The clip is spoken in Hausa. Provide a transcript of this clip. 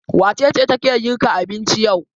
Wace ce take girka abinci yau?